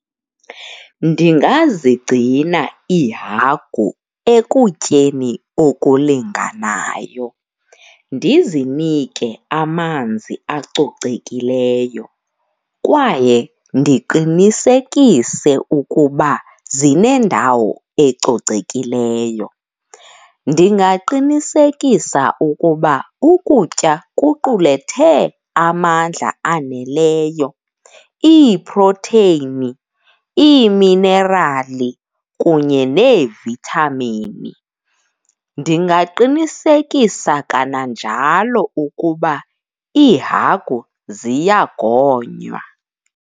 Ndingazigcina iihagu ekutyeni okulinganayo, ndizinike amanzi acocekileyo kwaye ndiqinisekise ukuba zinendawo ecocekileyo. Ndingaqinisekisa ukuba ukutya kuqulethe amandla aneleyo, iiprotheyini, iiminerali kunye neevithamini. Ndingaqinisekisa kananjalo ukuba iihagu ziyagonywa.